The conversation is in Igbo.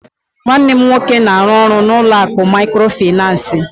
Nwanne m nwoke na-arụ ọrụ n'ụlọ akụ Mikrofaịnsi